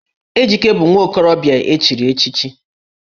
Ejike bụ nwa okorobịa e chiri echichi